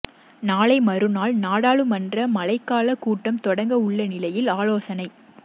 நாளை மறுநாள் நாடாளுமன்ற மழைக்கால கூட்டம் தொடங்க உள்ள நிலையில் ஆலோசனை